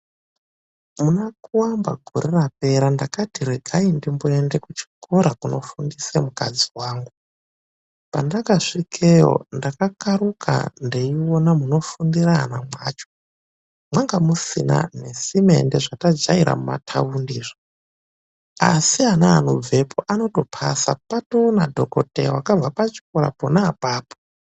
Muna Kuamba gore rapera ndakati regai ndimboenda kuchikora kunofundisira mukadzi wangu. Pandakasvikeyo, ndakakaruka ndeiona munofundira ana kwacho. Mwanga musina nesimendi zvatajaera kuthaundi izvo. Asi ana anobvepo anotopasa. Patoona dhokodheya wakabva pachikora pona apapo.